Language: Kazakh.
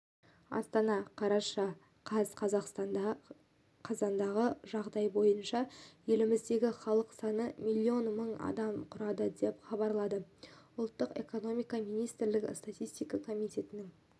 астана қараша қаз қазақстанда қазандағы жағдай бойынша еліміздегі халық саны миллион мың адамды құрады деп хабарлады ұлттық экономика министрлігі статистика комитетінің